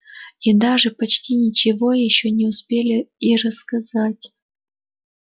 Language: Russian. и даже почти ничего ещё не успели и рассказать